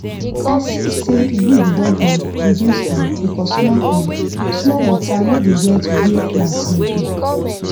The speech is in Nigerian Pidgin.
i see say weed don um reduce um because small um small water no dey wet where plant no dey